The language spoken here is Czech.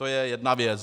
To je jedna věc.